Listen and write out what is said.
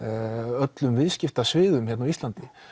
öllum viðskiptasviðum hérna á Íslandi